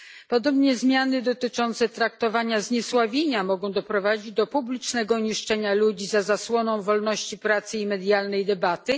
Podobnie zmiany dotyczące traktowania zniesławienia mogą doprowadzić do publicznego niszczenia ludzi za zasłoną wolności prasy i medialnej debaty.